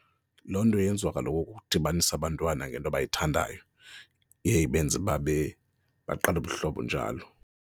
Loo nto yenziwa kaloku kukudibanisa abantwana ngento abayithandayo, iye ibenze bab, baqale ubuhlobo njalo.